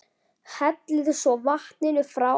Hellið svo vatninu frá.